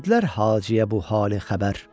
Verdilər Haciyə bu hali xəbər.